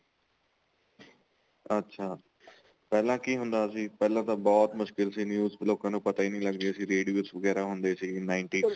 ਅੱਛਾ ਪਹਿਲਾਂ ਕੀ ਹੁੰਦਾ ਸੀ ਪਹਿਲਾਂ ਤਾਂ ਬਹੁਤ ਮੁਸ਼ਕਿਲ ਸੀ news ਲੋਕਾ ਨੂੰ ਪਤਾ ਈ ਨਹੀਂ ਲੱਗਦਾ ਸੀ radios ਵਗੈਰਾ ਹੁੰਦੇ ਸੀ ninety ਚ